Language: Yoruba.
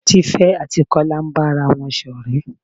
Tífé àti Kola ń bára wọn ṣọ̀rẹ́.